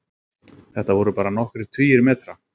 Þetta voru bara nokkrir tugir metra